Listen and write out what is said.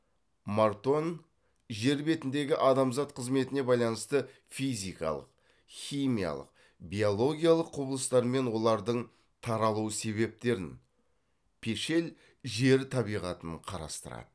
мартонн жер бетіндегі адамзат қызметіне байланысты физикалық химиялық биологиялық құбылыстармен олардың таралу себептерін пешель жер табиғатын қарастырады